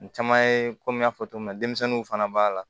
Caman ye komi n y'a fɔ cogo min na denmisɛnninw fana b'a la